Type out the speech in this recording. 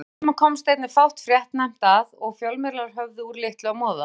Á þessum tíma komst einnig fátt fréttnæmt að og fjölmiðlar höfðu úr litlu að moða.